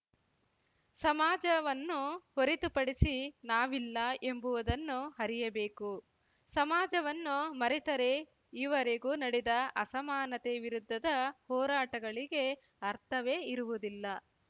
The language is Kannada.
ಸಮಾಜವನ್ನು ಹೊರತುಪಡಿಸಿ ನಾವಿಲ್ಲ ಎಂಬುವದನ್ನು ಅರಿಯಬೇಕು ಸಮಾಜವನ್ನು ಮರೆತರೆ ಈವರೆಗೂ ನಡೆದ ಅಸಮಾನತೆ ವಿರುದ್ಧದ ಹೋರಾಟಗಳಿಗೆ ಅರ್ಥವೇ ಇರುವುದಿಲ್ಲ